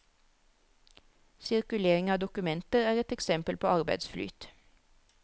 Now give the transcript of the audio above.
Sirkulering av dokumenter er et eksempel på arbeidsflyt.